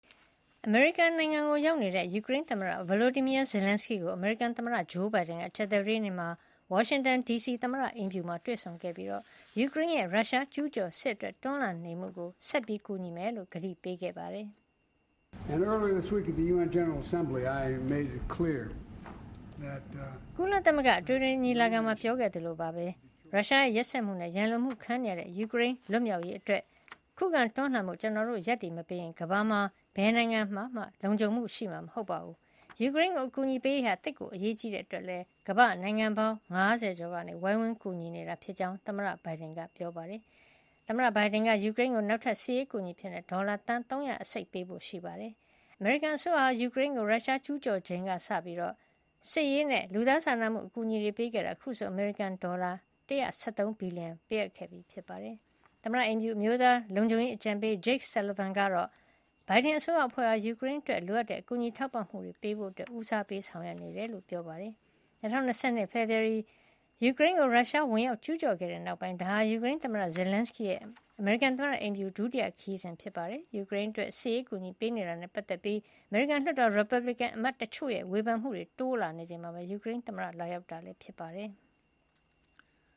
အမေရိကန်နိုင်ငံကိုရောက်နေတဲ့ ယူကရိန်းသမ္မတ Volodymyr Zelenskyy ကို အမေရိကန်သမ္မတဂျိုးဘိုင်ဒန်က ကြာသပတေးနေ့မှာ ဝါရှင်တန်ဒီစီက သမ္မတအိမ်ဖြူမှာတွေ့ဆုံခဲ့ပြီး ရုရှားကျူးကျော်စစ်အတွက် ယူကရိန်းရဲ့တွန်းလှန်နေမှုကို ဆက်လက် ကူညီမှာ ဖြစ်ကြောင်း ကတိပေးခဲ့ပါတယ်။ "ကုလသမဂ္ဂအထွေထွေညီလာခံမှာပြောခဲ့သလိုပဲ ရုရှားရဲ့ရက်စက်မှုနဲ့ ရန်လိုမှုခံနေရတဲ့ ယူကရိန်းလွတ်မြောက်ရေးအတွက် ခုခံတွန်းလှန်ဖို့ ကျနော်တို့ ရပ်တည်မပေးရင် ကမ္ဘာမှာ ဘယ်နိုင်ငံမှ လုံခြုံမှုရှိမှာမဟုတ်ပါဘူး။ ယူကရိန်းကို အကူညီပေးရေးဟာ သိပ်ကိုအရေးကြီးတဲ့အတွက်လည်း ကမ္ဘာ့နိုင်ငံပေါင်း ၅၀ ကျော်က ဝိုင်းဝန်းကူညီနေတာ.." ဖြစ်ကြောင်း သမ္မတဘိုင်ဒန်က ပြောသွားတာပါ။ သမ္မတဘိုင်ဒန်က ယူကရိန်းကို နောက်ထပ် စစ်ရေးအကူညီ ဒေါ်လာ ၃၂၅ သန်း ပေးဖို့ ရှိပါတယ်။ အမေရိကန်အစိုးရဟာ ယူကရိန်းကို ရုရှားကျူးကျော်ချိန်ကစပြီး စစ်ရေးနဲ့ လူသားစာနာမှုအကူအညီပေးခဲ့တာ အခုဆို အမေရိကန်ဒေါ်လာ ၁၁၃ ဘီလီယံ ပေးအပ်ခဲ့ပြီး ဖြစ်ပါတယ်။ သမ္မတအိမ်ဖြူ အမျိုးသားလုံခြုံရေးအကြံပေး Jake Sullivan ကတော့ ဘိုင်ဒန်အစိုးရအဖွဲ့ဟာ ယူကရိန်းအတွက် လိုအပ်တဲ့ ကူညီထောက်ပံ့မှုတွေပေးဖို့ ဦးစားပေး ဆောင်ရွက်နေကြောင်း ပြောပါတယ်။ ၂၀၂၂ ဖေဖေါ်ဝါရီ ယူကရိန်းကို ရုရှားဝင်ရောက်ကျူးကျော်ခဲ့တဲ့ နောက်ပိုင်း ဒါဟာ ယူကရိန်းသမ္မတ Zelenskyy ရဲ့ အမေရိကန်သမ္မတအိမ်ဖြူ ဒုတိယခရီးစဉ်ဖြစ်ပါတယ်။ ယူကရိန်းအတွက် စစ်ရေး အကူညီပေးနေတာနဲ့ပတ်သက်ပြီး အမေရိကန်လွှတ်တော်မှာ ရီပတ်ဘလစ်ကန်အမတ်တချို့ရဲ့ ဝေဖန်မှုတွေတိုးလာနေချိန်မှာ ယူကရိန်းသမ္မတ လာရောက်တာလည်း ဖြစ်ပါတယ်။